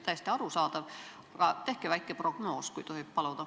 Täiesti arusaadav, aga tehke väike prognoos, kui tohib paluda.